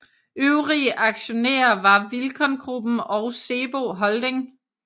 Øvrige aktionærer var Vilcon Gruppen og SEBO Holding